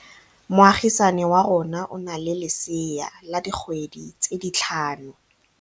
Moagisane wa rona o na le lesea la dikgwedi tse tlhano.